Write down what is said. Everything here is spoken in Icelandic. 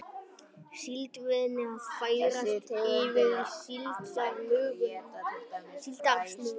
Síldveiðin að færast yfir í síldarsmuguna